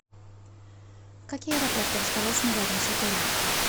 какие аэропорты расположены рядом с отелем